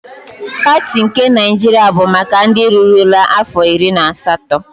Pati nke Naịjiria bụ maka ndị rurula afọ iri na asatọ.